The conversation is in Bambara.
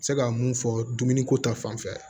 Se ka mun fɔ dumuni ko ta fanfɛ